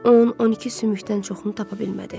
10-12 sümükdən çoxunu tapa bilmədi.